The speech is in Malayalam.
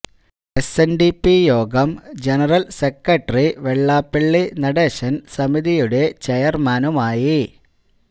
എസ് എൻ ഡി പി യോഗം ജനറൽ സെക്രട്ടറി വെള്ളാപ്പള്ളി നടേശൻ സമിതിയുടെ ചെയർമാനുമായി